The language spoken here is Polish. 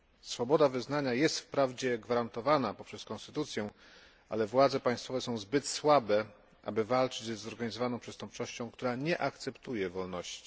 Swoboda wyznania jest wprawdzie gwarantowana poprzez konstytucję, ale władze państwowe są zbyt słabe, aby walczyć ze zorganizowaną przestępczością, która nie akceptuje wolności.